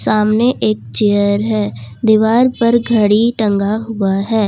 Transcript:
सामने एक चेयर है दीवार पर घड़ी टंगा हुआ है।